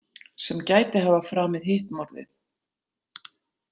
Sem gæti hafa framið hitt morðið.